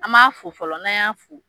An b'a fo fɔlɔ n'a y'a fo